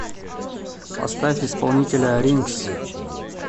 поставь исполнителя ринкс